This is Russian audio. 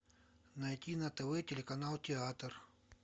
найти на тв телеканал театр